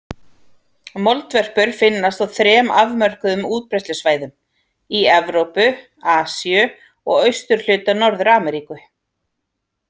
Moldvörpur finnast á þrem afmörkuðum útbreiðslusvæðum: í Evrópu, Asíu og austurhluta Norður-Ameríku.